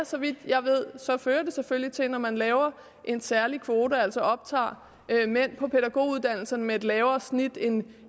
så vidt jeg ved fører det selvfølgelig til når man laver en særlig kvote altså optager mænd på pædagoguddannelsen med et lavere snit end